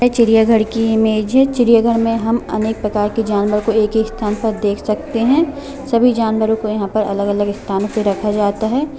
ये चिड़ियाघर की इमेज है चिड़ियाघर में हम अनेक प्रकार के जानवर को देख सकते है सभी जानवरों को अलग-अलग अपने स्थान पे रखा जाता है।